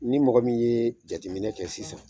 Ni mɔgɔ min ye jateminɛ kɛ sisan